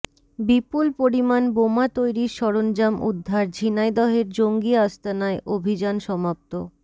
বিপুল পরিমাণ বোমা তৈরির সরঞ্জাম উদ্ধার ঝিনাইদহের জঙ্গি আস্তানায় অভিযান সমাপ্ত